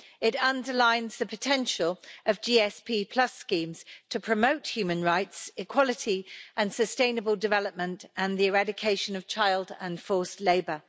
It underlines the potential of GSP schemes to promote human rights, equality and sustainable development and the eradication of child and forced labour.